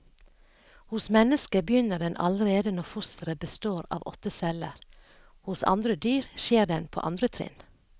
Hos mennesket begynner den allerede når fosteret består av åtte celler, hos andre dyr skjer den på andre trinn.